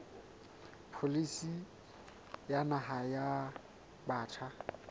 pholisi ya naha ya batjha